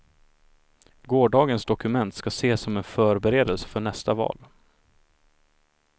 Gårdagens dokument ska ses som en förberedelse för nästa val.